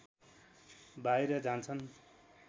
बाहिर जान्छन्